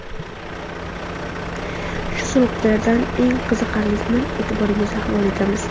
Shu sabablardan eng qiziqarlilarini e’tiboringizga havola etamiz.